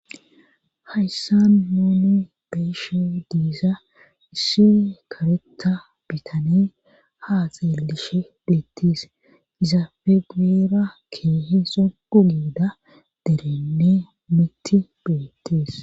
Hayssa nuni be'iishshe diiza issi kareta bitane haa xeeliishshe betees izaappe guyeera keehi sogu giida derey mitti beettees